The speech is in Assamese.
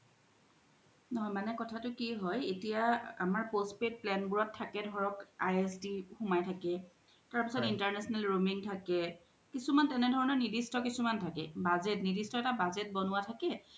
মানে কথা তু কি য়ে এতিয়া আমাৰ postpaid plan বোৰত থকে ধৰক ISD সোমাই থাকে তাৰ পিছ্ত international roaming থাকে কিছুমান তেনে ধনৰ কিছুমান নিৰ্দিষ্ট থাকে budget নিৰ্দিষ্ট এটা budget বনুৱা থাকে